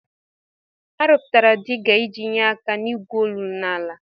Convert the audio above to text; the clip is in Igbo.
Arụpụtara diga iji nyee aka n'igwu olulu n'ala.